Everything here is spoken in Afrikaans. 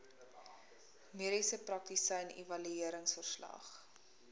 mediese praktisyn evalueringsverslag